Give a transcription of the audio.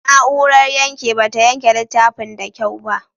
Na'urar yanke ba ta yanke littafin da kyau ba.